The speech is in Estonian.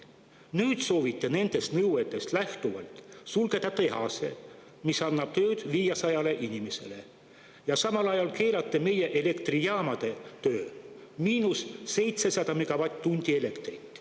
Nüüd te soovite nendest nõuetest lähtuvalt sulgeda tehase, mis annab tööd 500 inimesele, ja samal ajal keelate meie elektrijaamade töö: –700 megavatt-tundi elektrit.